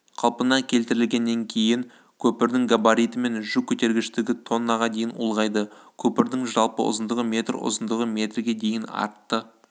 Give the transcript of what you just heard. қалпына келтірілгеннен кейін көпірдің габариті мен жүк көтергіштігі тоннаға дейін ұлғайды көпірдің жалпы ұзындығы метр ұзындығы метрге дейін артты